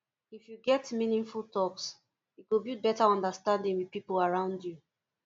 if you get meaningful talks e go build better understanding with people around you